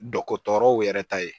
Dɔkɔtɔrɔw yɛrɛ ta ye